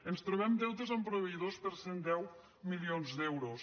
ens trobem deutes amb proveïdors per cent i deu milions d’euros